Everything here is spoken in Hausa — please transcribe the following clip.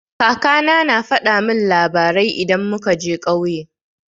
Kaka na na faɗa min labarai idan muka je ƙauye.